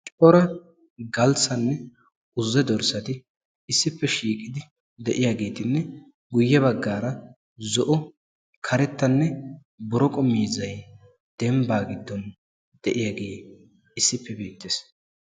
Cora galssanne uze dorssati issippe shiiqidi de'iyaagetinne guye baggara zo'o karettanne boroqo miizzay dembbaa giddon de'iyaage issippe beettees.